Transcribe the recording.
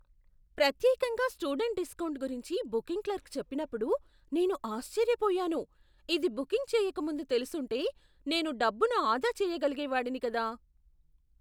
ప్రత్యేకంగా student discount గురించి booking clerk చెప్పినప్పుడు నేను ఆశ్చర్యపోయాను, ఇది బుకింగ్ చేయక ముందు తెలిసుంటే నేను డబ్బును ఆదా చేయగలిగేవాడిని కదా!